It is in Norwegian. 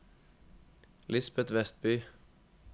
Lisbeth Westby